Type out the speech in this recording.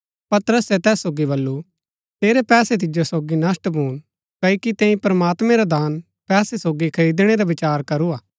पतरसे तैस सोगी बल्लू तेरै पैसे तिजो सोगी नष्‍ट भून क्ओकि तैंई प्रमात्मैं रा दान पैसे सोगी खरिदणै रा विचार करूआ